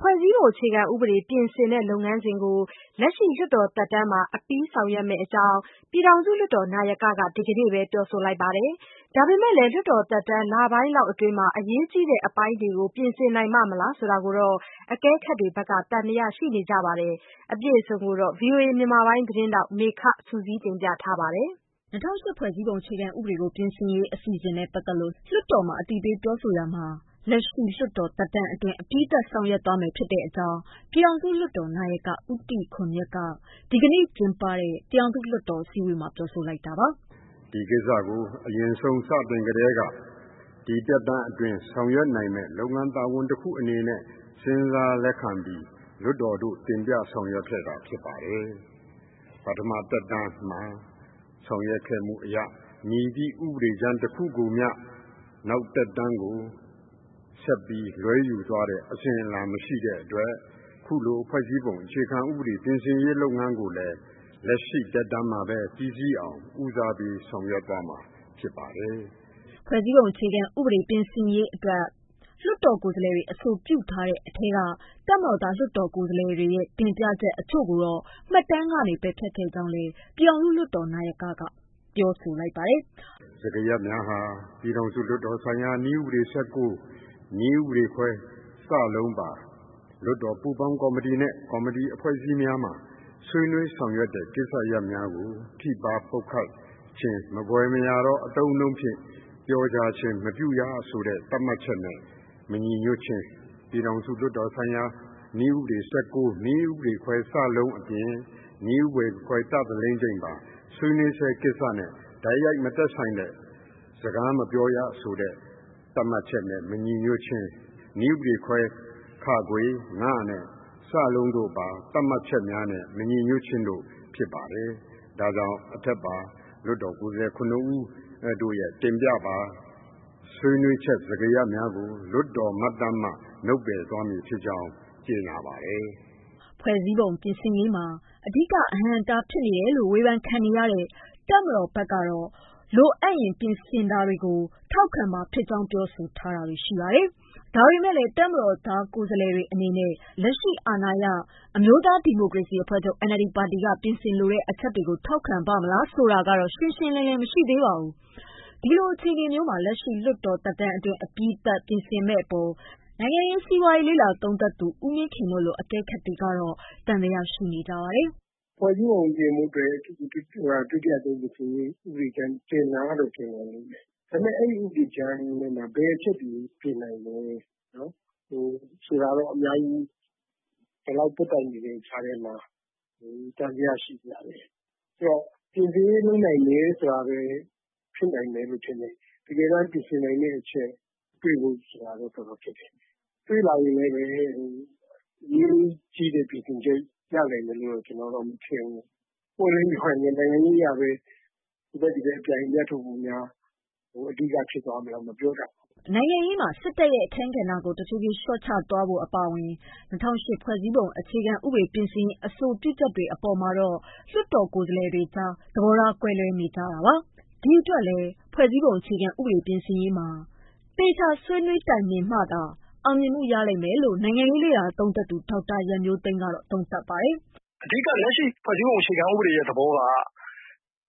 ဖွဲ့စည်းပုံ အခြေခံဥပဒေ ပြင်ဆင်တဲ့ လုပ်ငန်းစဉ်တွေကို လက်ရှိလွှတ်တော်သက်တမ်းမှာ အပြီးဆောင်ရွက်မယ့်အကြောင်း ပြည်ထောင်စု လွှတ်တော်နာယကက ဒီကနေ့ပဲ ပြောဆိုလိုက်ပါတယ်။ ဒါပေမဲ့လည်း လွှတ်တော်သက်တမ်း လပိုင်းလောက်အတွင်း အရေးကြီးတဲ့ အပိုင်းတွေကို ပြင်ဆင်နိုင်ပါ့မလား ဆိုတာကိုတော့ အကဲခတ်တွေက သံသယ ရှိနေကြပါတယ်။ အပြည့်အစုံကိုတော့ ဗွီအိုအေ မြန်မာပိုင်းသတင်းထောက် မေခက စုစည်း တင်ပြထားပါတယ်။ ၂၀၀၈ ဖွဲ့စည်းပုံ အခြေခံဥပဒေကို ပြင်ဆင်ရေး အစီအစဉ်တွေနဲ့ ပတ်သက်လို့ လွတ်တော်မှာ အသိပေး ပြောဆိုရာမှာ လက်ရှိ လွှတ်တော် သက်တမ်းအတွင်း အပြီးသတ်မယ့်အကြောင်း ပြည်ထောင်စုလွှတ်တော် နာယက ဦးတီခွန်မြတ်က ပြောဆိုလိုက်တာပါ။ “ဒီကိစ္စကို အရင်ဆုံး စတင်ကတည်းက ဒီသက်တမ်းအတွင်း ဆောင်ရွက်နိုင်မယ့် လုပ်ငန်းတာဝန်တခုအနေနဲ့ စဉ်းစားလက်ခံပြီး လွှတ်တော်သို့ တင်ပြဆောင်ရွက်ခဲ့တာဖြစ်ပါတယ်။ ပထမ သက်တမ်းမှာ ဆောင်ရွက်ခဲ့မှုအရ မည်သည့် ဥပဒေကြမ်း တခုကိုမျှ နောက်သက်တမ်းကို ဆက်ပြီးလွဲယူသွားတဲ့ အစဉ်အလာ မရှိတဲ့အတွက် အခုလို ဖွဲ့စည်းပုံ အခြေခံဥပဒေ ပြင်ဆင်ရေးလုပ်ငန်းကိုလည်း လက်ရှိ သက်တမ်းမှာပဲ ပြီးစီးအောင် ဦးစားပေး ဆောင်ရွက်သွားမှာ ဖြစ်ပါတယ်။” ဖွဲ့စည်းပုံ အခြေခံဥပဒေ ပြင်ဆင်ရေးအတွက် လွှတ်တော်ကိုယ်စားလှယ်တွေ အဆိုပြုထားတဲ့ အထဲက တပ်မတော်သား ကိုယ်စားလှယ်တွေရဲ့ တင်ပြချက်တချို့ကိုတော့ မှတ်တမ်းကနေ ပယ်ဖျက်ခဲ့ကြောင်းလည်း ပြည်ထောင်စုလွှတ်တော် နာယကက ပြောပါတယ်။ “စကားရပ်များဟာ ပြည်ထောင်စုလွှတ်တော်ဆိုင်ရာ နည်းဥပဒေ ၁၉ နည်းဥပဒေခွဲ (စ) ပါ လွှတ်တော်ပူးပေါင်းကော်မတီနဲ့ ကော်မတီ အဖွဲ့အစည်းများမှာ ဆွေးနွေးဆောင်ရွက်တဲ့ ကိစ္စရပ်များကို ထိပါးပုတ်ခတ်ခြင်း မဖွယ်မရာသော အသုံးအနှုန်းဖြင့် ပြောကြားခြင်းမပြုရဆိုတဲ့ သတ်မှတ်ချက်များ မညီညွှတ်ခြင်း၊ ပြည်ထောင်စုလွှတ်တော်ဆိုင်ရာ နည်းဥပဒေ ၁၉ နည်းဥပဒေခွဲ (စ) အပြင် နည်းဥပဒေခွဲ ( ဋ )ဆွေးနွေးဆဲ ကိစ္စနှင့် တိုက်ရိုက်မသက်ဆိုင်တဲ့ စကားမပြောရဆိုတဲ့ သတ်မှတ်ချက်နဲ့ မညီညွှတ်ခြင်းနဲ့ နည်းဥပဒေခွဲ (ခ) (င) (စ) တို့ပါ သတ်မှတ်ချက်များနဲ့ မညီညွှတ်ခြင်းတို့ ဖြစ်ပါတယ်။ ဒါကြောင့် အထက်ပါ လွှတ်တော်ကိုယ်စားလှယ် ၇ ဦးတို့ရဲ့ တင်ပြပါ ဆွေးနွေးချက် စကားရပ်များကို လွှတ်တောမှတ်တမ်းမှ နုတ်ပယ်သွားမည်ဖြစ်ကြောင်း ကြေညာပါတယ်။” ဖွဲ့စည်းပုံ ပြင်ဆင်ရေးမှာ အဓိကအဟန့်အတား ဖြစ်နေတယ်လို့ ဝေဖန်ခံနေရတဲ့ တပ်မတော် ဘက်ကတော့ လိုအပ်ရင် ပြင်ဆင်တာတွေကို ထောက်ခံမှာဖြစ်ကြောင်း ပြောဆိုထားတာပါ။ ဒါပေမဲ့လည်း တပ်မတော်သား ကိုယ်စားလှယ်တွေ အနေနဲ့ လက်ရှိ အာဏာရ အမျိုးသား ဒီမိုကရေစီ အဖွဲ့ချုပ် (NLD) ပါတီက ပြင်ဆင်လိုတဲ့ အချက်တွေကို ထောက်ခံပါ့မလား ဆိုတာကတော့ ရှင်းရှင်းလင်းလင်း မရှိပါဘူး။ ဒီလို အခြေအနေမျိုးမှာ လက်ရှိလွှတ်တော် သက်တမ်းအတွင်း အပြီးသတ် ပြင်ဆင်မယ့်အပေါ် နိုင်ငံရေး၊ စီးပွားရေး လေ့လာသုံးသပ်သူ ဦးမင်းခင် တို့လို အကဲခတ်တွေကတော့ သံသယရှိနေကြပါတယ်။ “ဖွဲ့စည်းပုံ ပြင်ဆင်ဖို့အတွက် ဥပဒေကြမ်း တင်တာကတော့ တင်တယ်၊ ဒါပေမယ့် အဲဒီ ဥပဒေကြမ်းထဲမှာ ဘယ်အချက်တွေကို ပြင်နိုင်မလဲ ဆိုတာကတော့ အခု ကျန်တဲ့ သက်တမ်းအတွင်းမှာ အများကြီး သံသယရှိစရာပါပဲ။ အဲဒီတော့ ပြင်ဆင်ရေးလုပ်နိုင်မယ် ဆိုတာပဲ ဖြစ်နိုင်မယ်လို့ ထင်တယ်။ တကယ်တမ်း ပြင်ဆင်နိုင်မယ့်အချက် တွေ့ဖို့ဆိုတာကတော့ တော်တော်ခက်ခဲတယ်၊ တွေ့လာရင်လည်း ပြင်ဆင်ချက်ရနိုင်မယ်လို့ ကျနော်ကတော့ မထင်ဘူး။ နိုင်ငံရေးအရ ဟိုဘက် ဒီဘက် အပြိုင်အမြတ်ထုတ်ဖို့များ အဓိက ဖြစ်သွားမလားလို့တော့ ကျနော်မပြောတတ်ဘူး။” နိုင်ငံရေးမှာ စစ်တပ်ရဲ့ အခန်းကဏ္ဍကို တဖြည်းဖြည်း လျှော့ချသွားဖို့ အပါအဝင် ၂၀၀၈ ဖွဲ့စည်းပုံ အခြေခံဥပဒေ ပြင်ဆင်ရေး အဆိုပြုချက်တွေ အပေါ်မှာတော့ လွှတ်တော် ကိုယ်စားလှယ်တွေကြား သဘောထားတွေလည်း ကွဲလွဲနေကြတာပါ။ ဒီအတွက်လည်း ဖွဲ့စည်းပုံ ပြင်ဆင်ရေးမှာ သေချာဆွေးနွေးညှိနှိုင်းမှုတွေနဲ့သာ အောင်မြင်မှု ရလိမ့်မယ်လို့ နိုင်ငံရေးလေ့လာသုံးသပ်သူ ဒေါက်တာရန်မျိုးသိမ်း ကသုံးသပ်ပါတယ်။ “အဓိက လက်ရှိ ဖွဲ့စည်းပုံအခြေခံဥပဒေရဲ့ သဘောက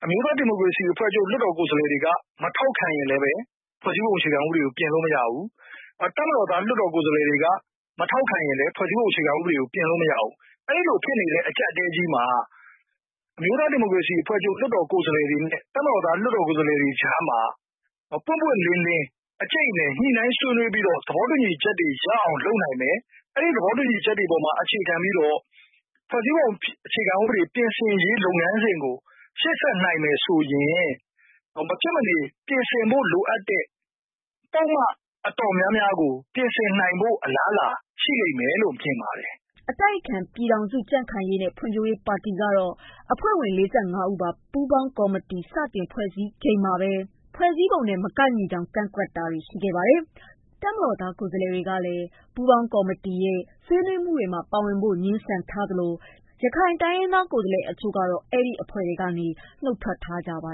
အမျိုးသားဒီမိုကရေစီအဖွဲ့ချုပ် လွှတ်တော်ကိုယ်စားလှယ်တွေ မထောက်ခံရင်လည်း ဖွဲ့စည်းပုံအခြေခံဥပဒေကို ပြင်လို့မရဘူး။ တပ်မတော်သား လွှတ်တော်ကိုယ်စားလှယ်တွေက မထောက်ခံရင်လည်း ဖွဲ့စည်းပုံအခြေခံဥပဒေကို ပြင်လို့မရဘူး။ အဲဒီလို ဖြစ်နေတဲ့ အကျပ်အတည်းကြီးမှာ အမျိုးသားဒီမိုကရေစီအဖွဲ့ချုပ် လွှတ်တော်ကိုယ်စားလှယ်တွေနဲ့ တပ်မတော်သား လွှတ်တော်ကိုယ်စားလှယ်တွေကြားမှာ ပွင့်ပွင့်လင်းလင်း အကြိတ်အနယ် ညှိနှိုင်းဆွေးနွေးပြီးတော့ သဘောတူညီချက်တွေရအောင် လုပ်နိုင်မယ်။ အဲဒီ သဘောတူညီချက်တွေအပေါ်မှာ အခြေခံပြီးတော့ ဖွဲ့စည်းပုံအခြေခံဥပဒေပြင်ဆင်ရေး လုပ်ငန်းစဉ်ကို ရှေ့ဆက်နိုင်မယ်ဆိုရင် မဖြစ်မနေ ပြင်ဆင်ဖို့ လိုအပ်တဲ့ ပုဒ်မ အတော်များများကို ပြင်ဆင်နိုင်ဖု့ိ အလားအလာရှိမယ်လို့ မြင်ပါတယ်။” အတိုက်အခံ ပြည်ထောင်စု ကြံ့ခိုင်ရေးနဲ့ ဖွံ့ဖြိုးရေးပါတီကတော့ အဖွဲ့ဝင် ၄၅ ဦးပါ ပူးပေါင်းကော်မတီ စတင်ဖွဲ့စည်းချိန်မှာပဲ ဖွဲ့စည်းပုံနဲ့ မကိုက်ညီကြောင်း ကန့်ကွက်ခဲ့တာပါ။ တပ်မတော်သား ကိုယ်စားလှယ်တွေကလည်း ပူးပေါင်းကော်မတီရဲ့ ဆွေးနွေးမှုတွေမှာ ပါဝင်ဖို့ ငြင်းဆန်ထားသလို ရခိုင်တိုင်းရင်းသား ကိုယ်စားလှယ် တချို့ကလည်း နုတ်ထွက် ထားကြပါ